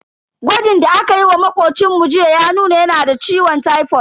Gwajin da akayi wa makocinmu jiya ya nuna yana da ciwon tipod.